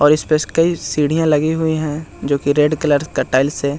और इसपे कई सीढ़ियाँ लगी हुई हैं जो कि रेड कलर का टाइल्स है ।